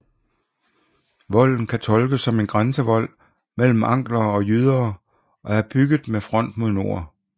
Volden kan tolkes som en grænsevold mellem anglere og jyder og er bygget med front mod nord